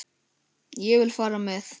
Ég vil fara með.